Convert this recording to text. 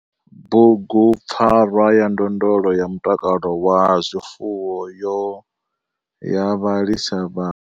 Bugupfarwa ya ndondolo ya mutakalo wa zwifuwo yo ya vhalisa vha.